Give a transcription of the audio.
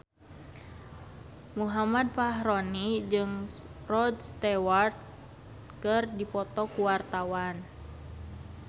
Muhammad Fachroni jeung Rod Stewart keur dipoto ku wartawan